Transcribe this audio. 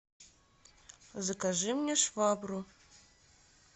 закажи мне швабру